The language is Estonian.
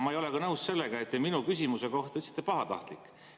Ma ei ole nõus ka sellega, et te minu küsimuse kohta ütlesite "pahatahtlik".